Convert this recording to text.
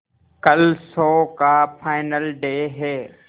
कल शो का final day है